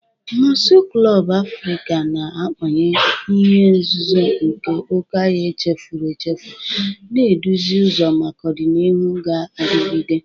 Mosu klọb Afrika na-amanye ihe nzuzo nke oke ọhịa echefuru echefu, na-eduzi ụzọ maka ọdịnihu ga-adigide.